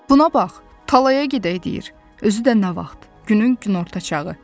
Buna bax, tallaya gedək deyir, özü də nə vaxt, günün günorta çağı.